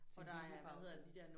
Sin hvilepause